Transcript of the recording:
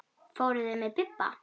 Fóru þeir með Bibba?